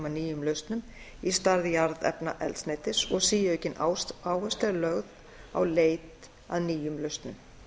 að nýjum lausnum í stað jarðefnaeldsneytis og síaukin áhersla er lögð á leit að nýjum lausnum